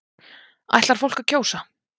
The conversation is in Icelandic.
Ætlar fólk að kjósa